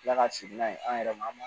Kila ka sigi n'a ye an yɛrɛ ma an ma